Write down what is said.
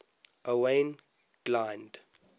owain glynd